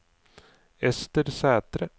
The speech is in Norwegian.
Ester Sæthre